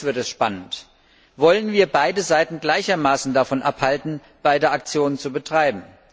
Aber jetzt wird es spannend Wollen wir beide Seiten gleichermaßen davon abhalten, diese beiden Aktionen zu betreiben?